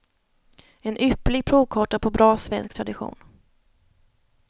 En ypperlig provkarta på bra svensk tradition.